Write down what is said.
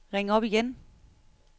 ring op igen